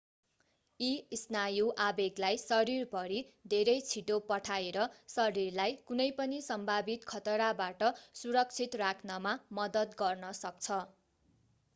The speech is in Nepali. यी स्नायु आवेगलाई शरीरभरि धेरै छिटो पठाएर शरीरलाई कुनै पनि सम्भावित खतराबाट सुरक्षित राख्नमा मद्दत गर्न सक्छ